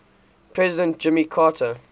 president jimmy carter